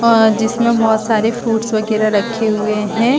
आ जिसमें बहुत सारे फ्रूटस वगैरा रखे हुए है।